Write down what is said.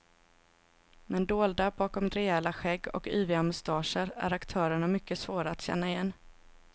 Men dolda bakom rejäla skägg och yviga mustascher är aktörerna mycket svåra att känna igen.